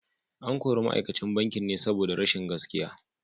An kori ma’aikacin bankin ne saboda rashin gaskiya.